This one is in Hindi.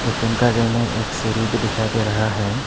घर में एक सीढ़ी भी दिखाई दे रहा है।